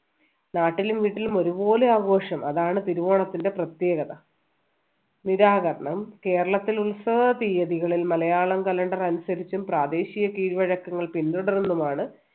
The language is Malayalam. നാട്ടിലും വീട്ടിലും ഒരുപോലെ ആഘോഷം അതാണ് തിരുവോണത്തിൻ്റെ പ്രത്യേകത നിരാകരണം കേരളത്തിൽ ഉത്സവ തീയതികളിൽ മലയാളം calender അനുസരിച്ചും പ്രാദേശിക കീഴ്വഴക്കങ്ങൾ പിന്തുടർന്നുമാണ്